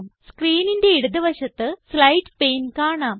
സ്ക്രീനിന്റെ ഇടത് വശത്ത് slides pane കാണാം